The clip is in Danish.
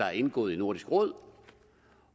er indgået i nordisk råd